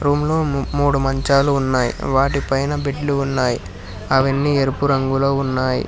Room లో మూడు మంచాలు ఉన్నాయ్ వాటి పైన బెడ్ లు ఉన్నాయ్. అవన్నీ ఎరుపు రంగులో ఉన్నాయి.